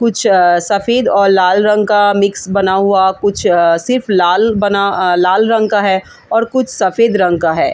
कुछ सफेद और लाल रंग का मिक्स बना हुआ कुछ सिर्फ लाल बना लाल रंग का है और कुछ सफेद रंग का है।